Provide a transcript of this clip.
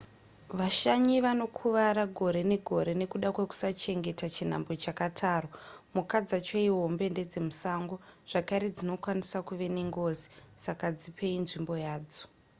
vashanyi vanokuvara gore negore nekuda kwekusachengeta chinhambwe chakatarwa mhuka dzacho ihombe ndedzemusango zvakare dzinokwanisa kuve nengozi saka dzipei nzvimbo yadzo